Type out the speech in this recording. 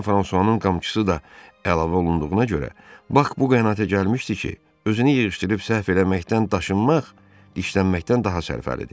Fransuanın qamçısı da əlavə olunduğuna görə Bak bu qənaətə gəlmişdi ki, özünü yığışdırıb səhv eləməkdən daşınmaq dişlənməkdən daha sərfəlidir.